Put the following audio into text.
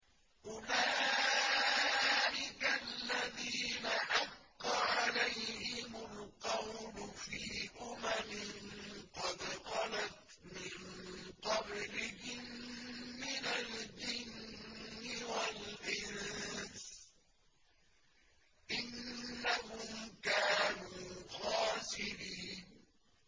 أُولَٰئِكَ الَّذِينَ حَقَّ عَلَيْهِمُ الْقَوْلُ فِي أُمَمٍ قَدْ خَلَتْ مِن قَبْلِهِم مِّنَ الْجِنِّ وَالْإِنسِ ۖ إِنَّهُمْ كَانُوا خَاسِرِينَ